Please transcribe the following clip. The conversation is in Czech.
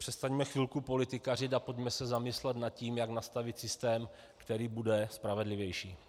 Přestaňme chvilku politikařit a pojďme se zamyslet nad tím, jak nastavit systém, který bude spravedlivější.